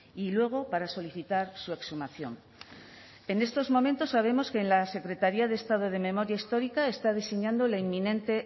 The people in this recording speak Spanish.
y luego para solicitar su exhumación en estos momentos sabemos que la secretaría de estado de memoria histórica está diseñando la inminente